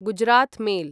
Gujarat mail